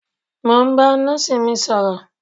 Mo ń ba nọ́ọ̀sì mi sọ̀rọ̀